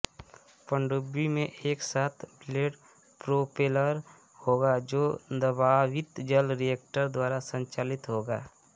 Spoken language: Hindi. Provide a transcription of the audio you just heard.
पनडुब्बी में एक सात ब्लेड प्रोपेलर होगा जो दबावित जल रिएक्टर द्वारा संचालित होगा